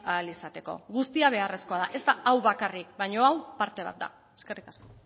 ahal izateko guztia beharrezkoa da ez da hau bakarrik baina hau parte bat da eskerrik asko